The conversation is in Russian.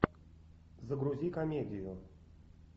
загрузи комедию